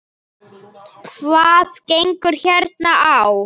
Hvað gengur hér á?